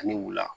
Ani wula